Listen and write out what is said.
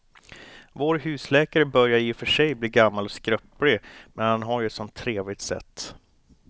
Vår husläkare börjar i och för sig bli gammal och skröplig, men han har ju ett sådant trevligt sätt!